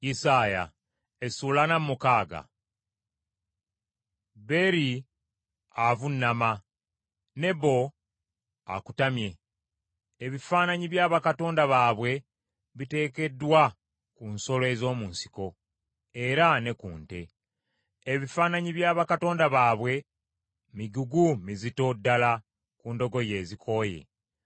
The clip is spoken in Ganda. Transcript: Beri avunnama, Nebo akutamye! Ebifaananyi bya bakatonda baabwe biteekeddwa ku nsolo ez’omu nsiko, era ne ku nte. Ebifaananyi bya bakatonda baabwe migugu mizito ddala ku ndogoyi ezikooye.